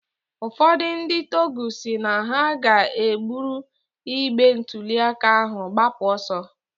Ụfọdụ ndị tọgụ si na ha ga-ebụrụ igbe ntụliaka ahụ gbapụ ọsọ